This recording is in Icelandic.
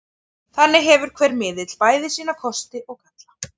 Þannig hefur hver miðill bæði sína kosti og galla.